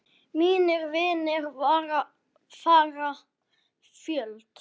Mínir vinir fara fjöld